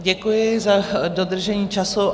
Děkuji za dodržení času.